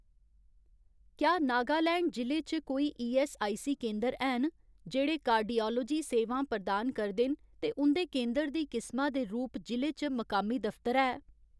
क्या नागालैंड जि'ले च कोई ईऐस्सआईसी केंदर हैन जेह्ड़े कार्डिआलोजी सेवां प्रदान करदे न ते उं'दे केंदर दी किसमा दे रूप जि'ले च मुकामी दफ्तर है ?